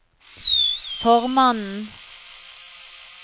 formannen